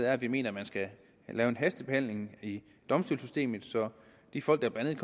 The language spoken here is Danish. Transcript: at vi mener man skal lave en hastebehandling i domstolssystemet så de folk der blandt